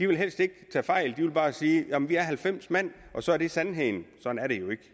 vil tage fejl de vil bare sige vi er halvfems mand og så er det sandheden sådan er det jo ikke